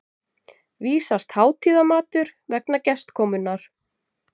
vísast hátíðarmatur vegna gestakomunnar.